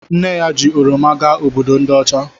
Nne ya ji oroma gaa Obodo ndi ocha